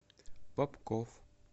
попков